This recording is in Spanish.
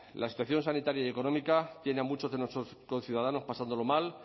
la situación sanitaria y económica tiene a muchos de nuestros conciudadanos pasándolo mal